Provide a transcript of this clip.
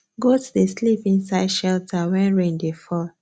goat dey sleep inside shelter when rain dey fall